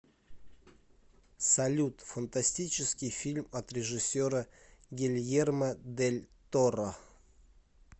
салют фантастический фильм от режиссера гельермо дель торро